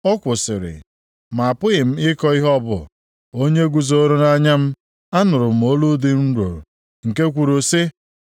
Ọ kwụsịrị; ma apụghị m ịkọ ihe ọ bụ. Onyinyo guzooro nʼanya m, anụrụ m olu dị nro, nke kwuru sị: